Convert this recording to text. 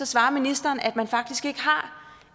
svarer ministeren at man faktisk ikke har